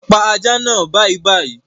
Pa ajá naa bàìbàì